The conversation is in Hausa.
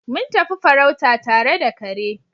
Mun tafi farauta tare da kare.